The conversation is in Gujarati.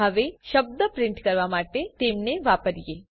હવે શબ્દ પ્રિન્ટ કરવા માટે તેમને વાપરીએ